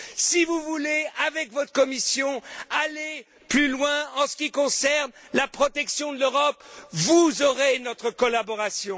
Si vous voulez, avec votre Commission, aller plus loin en ce qui concerne la protection de l'Europe, vous aurez notre collaboration.